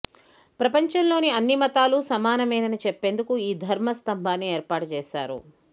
ప్రపంచంలోని అన్ని మతాలూ సమానమేనని చెప్పేందుకు ఈ ధర్మ స్తంభాన్ని ఏర్పాటు చేశారు